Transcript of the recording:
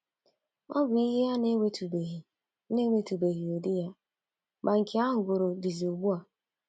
Ọ bụ ihe a na-enwetụbeghị na-enwetụbeghị ụdị ya, ma nke a hugoro dizi ugbu a.